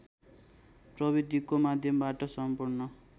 प्रविधिको माध्यमबाट सम्पूर्ण